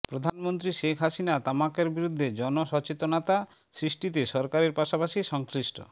প্রধানমন্ত্রী শেখ হাসিনা তামাকের বিরুদ্ধে জনসচেতনতা সৃষ্টিতে সরকারের পাশাপাশি সংশ্লিষ্ট